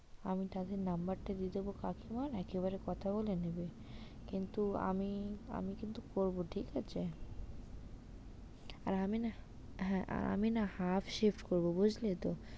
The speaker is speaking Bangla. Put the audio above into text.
আমি তাদের number টা দিয়ে দেবো কাকিমার একেবারে কথা বলে নেবে কিন্তু আমি, আমি কিন্তু করবো ঠিক আছে? আর আমি না, হ্যাঁ আমি না half shift করবো বুঝলে তো?